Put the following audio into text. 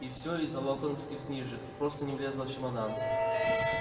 и всё из-за локонсовских книжек просто не влезла в чемодан